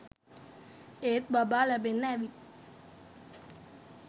ඒත් බබා ලැබෙන්න ඇවිත්